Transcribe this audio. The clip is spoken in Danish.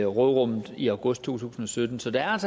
råderummet i august to tusind og sytten så der er